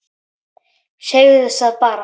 Segðu það bara!